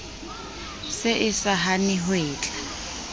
se e sa hane hwetla